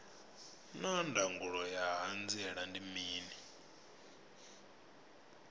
naa ndangulo ya hanziela ndi mini